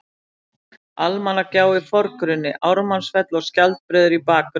Almannagjá í forgrunni, Ármannsfell og Skjaldbreiður í bakgrunni.